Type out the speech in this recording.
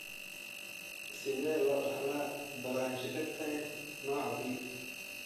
Sidee loo dhaxlaa brachydactyly nooca B?